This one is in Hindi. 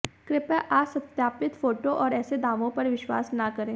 कृपया असत्यापित फोटो और ऐसे दावों पर विश्वास न करें